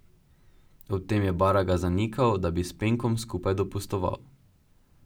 Ob tem je Baraga zanikal, da bi s Penkom skupaj dopustoval.